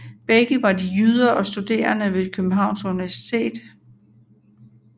Begge var de jyder og studerende ved Københavns Universitet